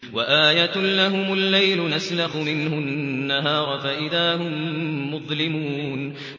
وَآيَةٌ لَّهُمُ اللَّيْلُ نَسْلَخُ مِنْهُ النَّهَارَ فَإِذَا هُم مُّظْلِمُونَ